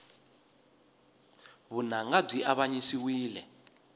vunanga byi avanyisiwile